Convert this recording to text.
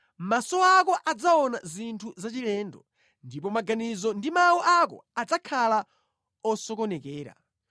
Maso ako adzaona zinthu zachilendo ndipo maganizo ndi mawu ako adzakhala osokonekera.